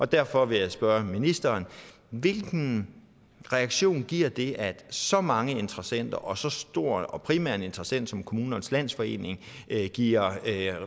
derfor vil jeg spørge ministeren hvilken reaktion giver det at så mange interessenter og så stor og primær en interessant som kommunernes landsforening giver